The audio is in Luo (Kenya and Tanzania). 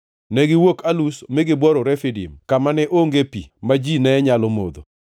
Negiwuok Alush mi gibworo Refidim, kama ne onge pi ma ji ne nyalo modho.